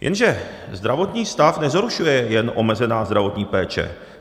Jenže zdravotní stav nezhoršuje jen omezená zdravotní péče.